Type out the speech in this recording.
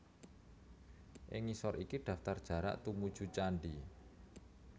Ing ngisor iki daftar jarak tumuju candhi